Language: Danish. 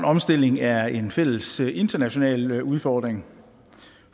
omstilling er en fælles international udfordring